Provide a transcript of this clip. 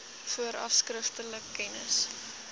vooraf skriftelik kennis